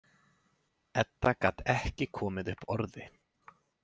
Edda gat ekki komið upp orði.